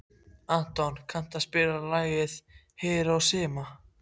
Anton, kanntu að spila lagið „Hiroshima“?